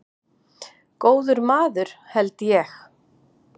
Góður maður held ég.